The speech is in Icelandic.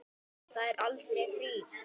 Það er aldrei frí.